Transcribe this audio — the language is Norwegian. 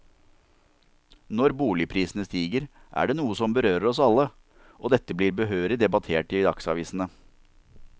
Når boligprisene stiger, er det noe som berører oss alle, og dette blir behørig debattert i dagsavisene.